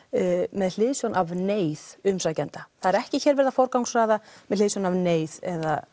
með hliðsjón af neyð umsækjenda það er ekki hér verið að forgangsraða með hliðsjón af neyð eða